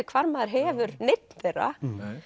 hvar maður hefur neinn þeirra